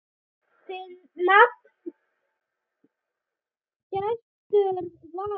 Þinn nafni, Gestur Valur.